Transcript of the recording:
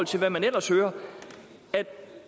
til hvad man ellers hører at